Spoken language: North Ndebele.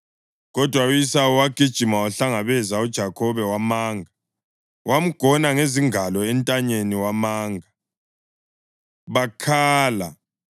Kodwa u-Esawu wagijima wahlangabeza uJakhobe wamanga; wamgona ngezingalo entanyeni wamanga. Bakhala.